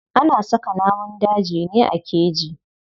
Ana saka namun dajin ne a keji.